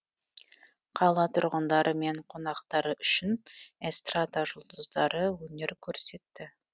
қала тұрғындары мен қонақтары үшін эстрада жұлдыздары өнер көрсетті